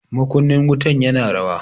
Makunnin wutan ya na rawa.